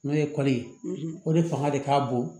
N'o ye kɔli ye o de fanga de ka bon